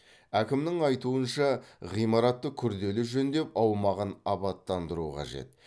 әкімнің айтуынша ғимаратты күрделі жөндеп аумағын абаттандыру қажет